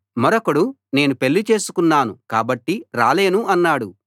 మరొకడు నేను పెళ్ళి చేసుకున్నాను కాబట్టి రాలేను అన్నాడు